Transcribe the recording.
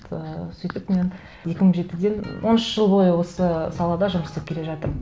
ыыы сөйтіп мен екі мың жетіден он үш жыл бойы осы салада жұмыс істеп келе жатырмын